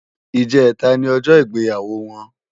Ijètá ni òjò igbéyáwó wòn